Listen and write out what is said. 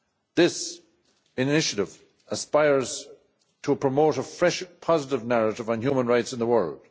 This initiative aspires to promote a fresh, positive narrative on human rights in the world.